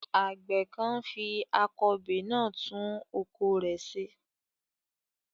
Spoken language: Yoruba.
Àgbẹ̀ kan ń fi akọbè náà tún oko rẹ̀ ṣe.